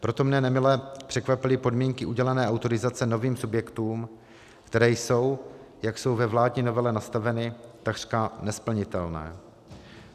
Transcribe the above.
Proto mne nemile překvapily podmínky udělené autorizace novým subjektům, které jsou, jak jsou ve vládní novele nastaveny, takřka nesplnitelné.